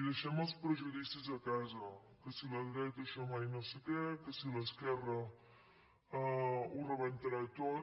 i deixem els prejudicis a casa que si la dreta això mai no sé què que si l’esquerra ho rebentarà tot